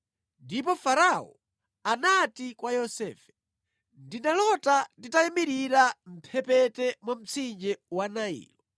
Ndipo Farao anati kwa Yosefe, “Ndinalota nditayimirira mʼmphepete mwa mtsinje wa Nailo,